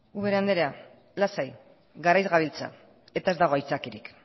ubera andrea lasai garaiz gabiltza eta ez dago aitzakiarik